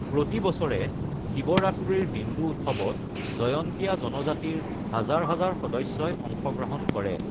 প্ৰতি বছৰে শিৱৰাত্ৰিৰ হিন্দু উৎসৱত জয়ন্তীয়া জনজাতিৰ হাজাৰ হাজাৰ সদস্যই অংশগ্ৰহণ কৰে।